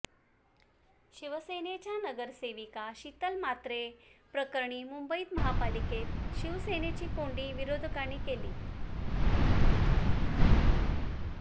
शिवसेनेच्या नगरसेविका शीतल म्हात्रे प्रकरणी मुंबई महापालिकेत शिवसेनेची कोंडी विरोधकांनी केली